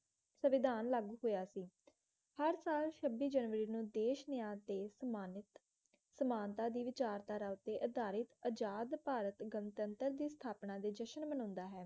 ਸਵਿਧਾਨ ਲਾਗੂ ਹੋਇਆ ਸੀ ਹਰ ਸਾਲ ਛੱਬੀ ਜਨਵਰੀ ਨੂੰ ਦੇਸ਼ ਮਿਆਰ ਤੇ ਸੰਨਮਾਨਿਤ ਸਮਾਨਤਾ ਦੀ ਵਿਚਾਰਧਾਰਾ ਉੱਤੇ ਅਧਾਰਿਤਅਜਾਦ ਭਾਰਤ ਗਣਤੰਤਰ ਦੀ ਸਥਾਪਨਾ ਦੇ ਜਸ਼ਨ ਮਨਾਉਂਦਾ ਹੈ